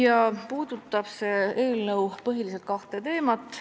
Eelnõu käsitleb põhiliselt kahte teemat.